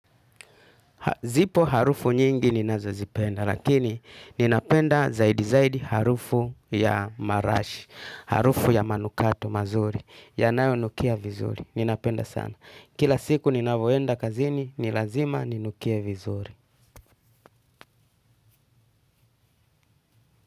Zipo harufu nyingi ni nazo zipenda, lakini ninapenda zaidi zaidi harufu ya marashi, harufu ya manukato mazuri, yanayo nukia vizuri, ninapenda sana. Kila siku ninavoenda kazini, ni lazima ninukie vizuri.